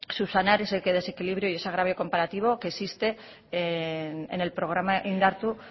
subsanar ese desequilibrio y ese agravio comparativo que existe en el programa indartu